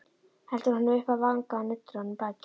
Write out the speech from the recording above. Heldur honum upp að vanga og nuddar á honum bakið.